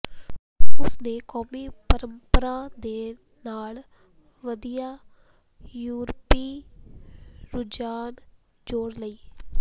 ਉਸ ਨੇ ਕੌਮੀ ਪਰੰਪਰਾ ਦੇ ਨਾਲ ਵਧੀਆ ਯੂਰਪੀ ਰੁਝਾਨ ਜੋੜ ਲਈ